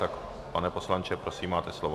Tak pane poslanče, prosím, máte slovo.